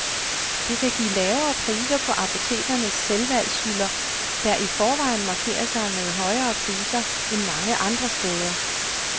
Det kan give lavere priser på apotekernes selvvalgshylder, der i forvejen markerer sig med højere priser end mange andre steder.